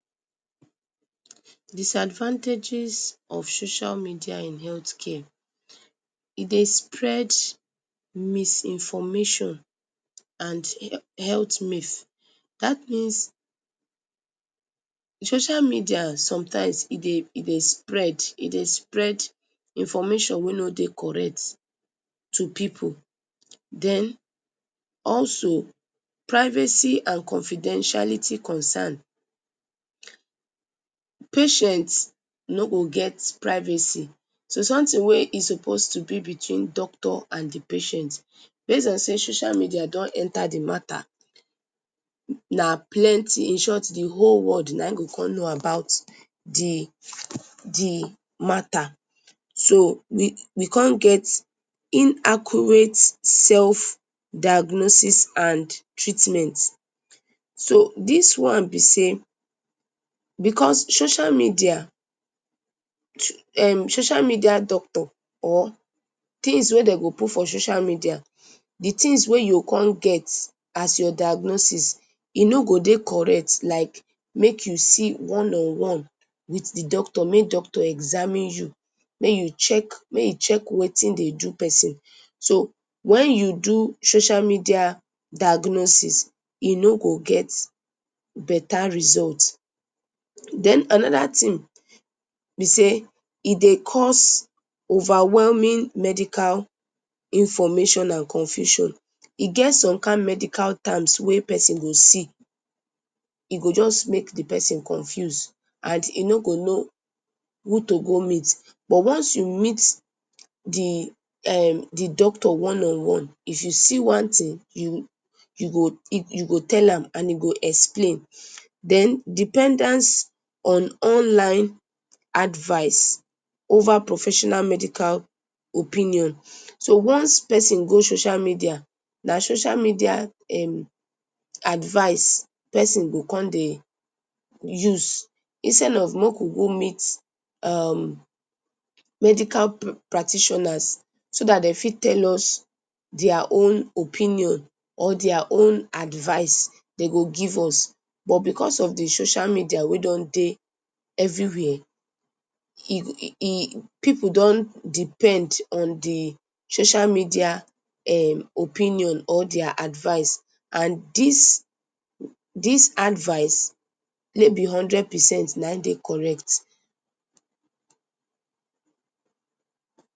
Disadvantages of social media in healthcare e dey spread misinformation and health myth, dat means social media sometimes e dey spread information wey no dey correct to pipu, den also privacy and confidentiality concern, patient no go get privacy, so some thing we e suppose to b between doctor and d patient base on say social media don enta d mata, na plenty inshort d whole world nah in go con know about d mata, so we con get inaccurate diagnoses and treatment, so dis one b sey because social media, um social media doctor or things wey dem go put for social media, d things wey u go con get as your diagnoses, e no go con dey correct, like make u see one on one with d doctor, make doctor examine u make u check, make hin check wetin dey do persin, so wen u do social media diagnoses e no go get beta result, den anoda thing b sey e dey cause overwhelming medical information and confusion, e get some kind terms wey persin go see, e go jus make d persin confuse and e no go know who to go meet, but once u meet d doctor one on one, if u see one thing u go tell am and e go explain, den dependence on online advice over professional medical opinion, so once persin go social media, na social media advice persin go con dey use, instead of make we go meet um medical practitioners so dat dem fit tell us dia own opinion, dia own advice, but because of d social media wey don dey every where pipu don depend on d social media opinion or dia advice and dis advice no b hundred percent na hin dey correct.